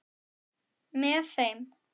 Með þeim